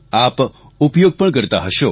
આપ ઉપયોગ પણ કરતા હશો